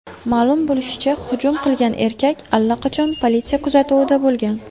Ma’lum bo‘lishicha, hujum qilgan erkak allaqachon politsiya kuzatuvida bo‘lgan.